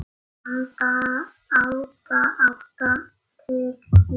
Handa átta til tíu